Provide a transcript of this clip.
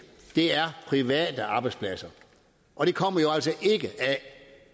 er private arbejdspladser og de kommer jo altså ikke